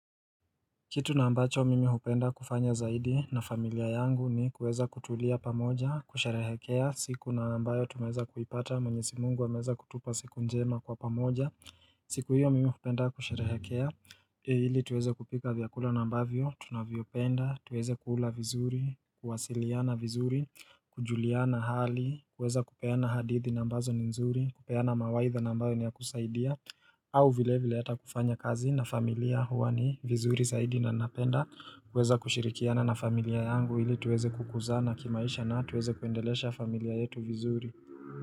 Kitu na ambacho mimi hupenda kufanya zaidi na familia yangu ni kuweza kutulia pamoja, kusherehekea, siku na ambayo tumeweza kuipata, mwenyezi Mungu ameweza kutupa siku njema kwa pamoja, siku hiyo mimi hupenda kusherehekea, ili tuweze kupika vyakula na ambavyo, tunavyopenda, tuweze kuula vizuri, kuwasiliana vizuri, kujuliana hali, kuweza kupeana hadithi nambazo ni nzuri, kupeana mawaidha nambayo ni ya kusaidia, au vile vile hata kufanya kazi na familia huwa ni vizuri zaidi na napenda kuweza kushirikiana na familia yangu ili tuweze kukuzana kimaisha na tuweze kuendelesha familia yetu vizuri.